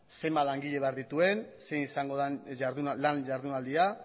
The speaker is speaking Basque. zenbat langile behar dituen zein izango den lan ihardunaldia